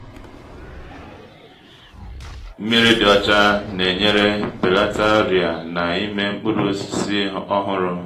mmiri dị ọcha na-enyere belata ọrịa na-ime mkpụrụ osisi ọhụrụ